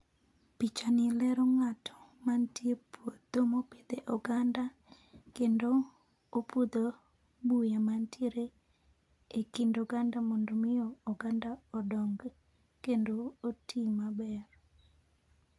Pichani lero ng'ato mantie puodho mopidhe oganda, kendo, opudho, buya mantiere, e kind oganda mondo mi oganda odong kendo otii maber